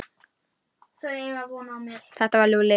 Þetta var Lúlli.